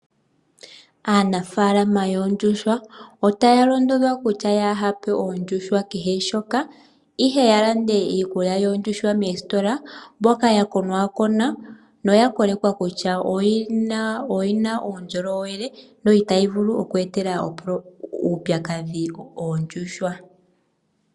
Aanafalama yoondjuhwa otaya londodhwa kutya inaya pa oondjuhwa kehe shoka ihe ya lande iikulya yoondjuhwa moositola mbyoka ya konakonwa noya kolekwa kutya oyina uundjolowele no itayi vulu oku etela oondjuhwa uupyakadhi.